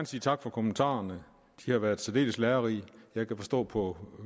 sige tak for kommentarerne de har været særdeles lærerige jeg kan forstå på